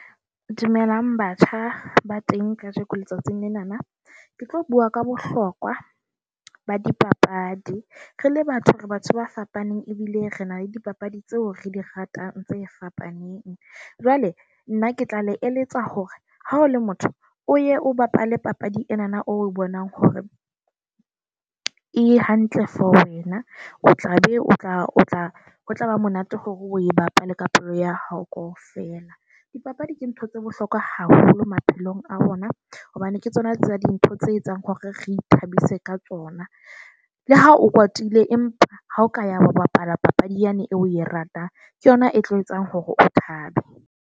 Dumelang batjha, ba teng kajeko letsatsing lenana. Ke tlo bua ka bohlokwa ba di papadi. Re le batho, re batho ba fapaneng ebile re na le dipapadi tseo re di ratang tse fapaneng. Jwale nna ke tla le eletsa hore ha o le motho o ye o bapale papadi ena o bonang hore e hantle for wena, o tlabe o tla o tla o tlaba monate hore o e bapale ka pelo ya hao kaofela. Dipapadi ke ntho tse bohlokwa haholo maphelong a bona hobane ke tsona tsa dintho tse etsang hore re ithabise ka tsona. Le ha o kwatile empa ha o ka ya bapala papadi yane eo o e ratang ke yona e tlo etsang hore o tlabe .